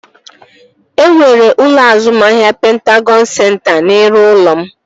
E nwere ụlọ azụmahịa Pentagọn senta n'iru ụlọ m